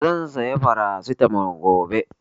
Zan saya Farasitamol gobe